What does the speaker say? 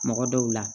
Mɔgɔ dɔw la